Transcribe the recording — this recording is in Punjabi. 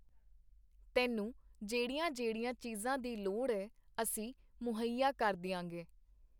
ਤੈਨੂੰ ਜਿਹੜੀਆਂ-ਜਿਹੜੀਆਂ ਚੀਜ਼ਾਂ ਦੀ ਲੋੜ ਏ, ਅਸੀਂ ਮੁਹੱਈਆ ਕਰ ਦੀਆਂਗੇ.